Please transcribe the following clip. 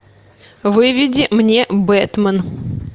выведи мне бэтмен